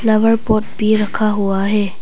Flower pot भी रखा हुआ है।